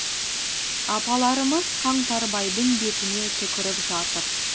апаларымыз қаңтарбайдың бетіне түкіріп жатыр